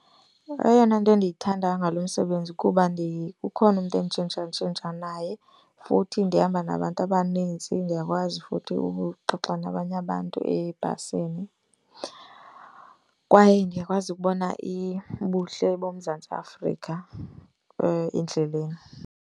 Eyona nto endiyithandayo ngalo msebenzi kuba ukhona umntu enditshintshatshintsha naye. Futhi ndihamba nabantu abaninzi ndiyakwazi futhi ukuxoxa nabanye abantu ebhasini. Kwaye ndiyakwazi ukubona ubuhle boMzantsi Afrika endleleni.